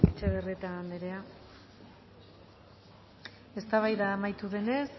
etxebarrieta andrea eztabaida amaitu denez